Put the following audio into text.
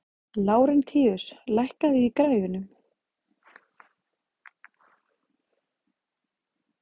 Lárentíus, hækkaðu í græjunum.